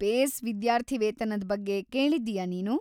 Phase ವಿದ್ಯಾರ್ಥಿವೇತನದ್ ಬಗ್ಗೆ ಕೇಳಿದ್ದೀಯಾ ನೀನು?